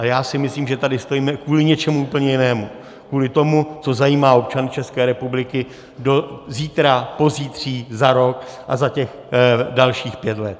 Ale já si myslím, že tady stojíme kvůli něčemu úplně jinému, kvůli tomu, co zajímá občany České republiky zítra, pozítří, za rok a za těch dalších pět let.